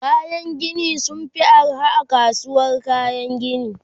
kayan Gini sunfi arha a kasuwar kayan Gini